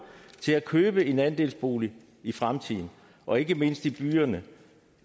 til at købe en andelsbolig i fremtiden og ikke mindst i byerne